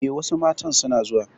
Eh, wasu matan suna zuwa